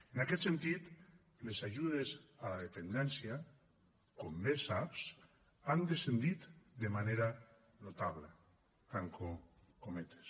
en aquest sentit les ajudes a la dependència com bé saps han descendit de manera notable tanco cometes